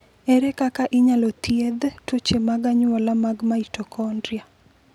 Ere kaka inyalo thiedh tuoche mag anyuola mag mitokondria?